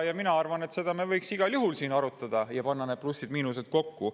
Mina arvan, et seda võiks igal juhul ka siin arutada ja panna need plussid ja miinused kokku.